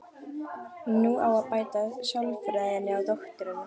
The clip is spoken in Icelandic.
Nú á að beita sálfræðinni á dótturina.